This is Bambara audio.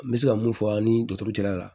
N bɛ se ka mun fɔ ani jaturu cɛla la